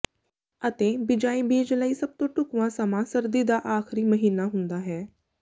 ਅਤੇ ਬਿਜਾਈ ਬੀਜ ਲਈ ਸਭ ਤੋਂ ਢੁਕਵਾਂ ਸਮਾਂ ਸਰਦੀ ਦਾ ਆਖ਼ਰੀ ਮਹੀਨਾ ਹੁੰਦਾ ਹੈ